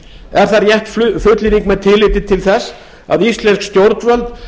er það rétt fullyrðing með tilliti til þess að íslensk stjórnvöld